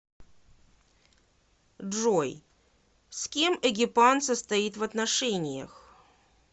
джой с кем эгипан состоит в отношениях